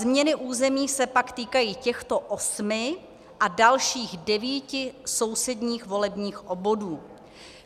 Změny území se pak týkají těchto osmi a dalších devíti sousedních volebních obvodů.